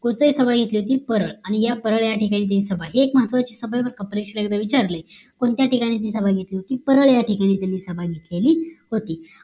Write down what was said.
कोठे सभा घेतली होती परळ आणि या परळ या ठिकाणी त्यांची सभा हे एक महत्वाची सभा बरं का परीक्षेला एकदा विचारलाय कोणत्या ठिकाणी ती सभा घेतली होती तर परळ या ठिकाणी तेनी सभा घेतलेली होती